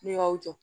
N'i y'aw jɔ